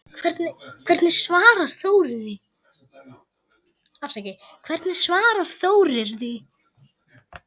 Hvernig svarar Þórir því?